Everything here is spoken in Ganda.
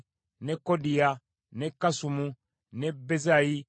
ne Kodiya, ne Kasumu, ne Bezayi,